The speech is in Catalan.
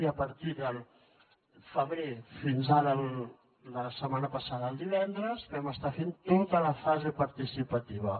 i a partir del febrer i fins ara la setmana passada el divendres vam estar fent tota la fase participativa